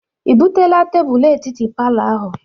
I buteela tebulu etiti palọ ahụ?